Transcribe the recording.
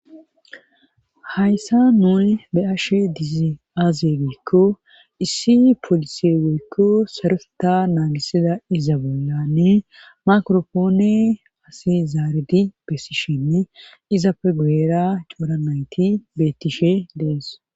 Hayssa nuni be ashe dizi aaze geykko issi polisie geykko sarusota naagisida iza bollanni makropoone asi zaaridi bessishinne izappe guera coura nayti bettishe dees